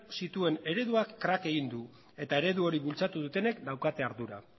zituen ereduak krak egin du eta eredu hori bultzatu dutenek daukate ardura